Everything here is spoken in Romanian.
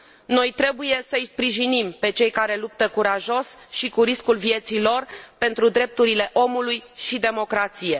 Noi trebuie să îi sprijinim pe cei care luptă curajos și cu riscul vieții lor pentru drepturile omului și democrație.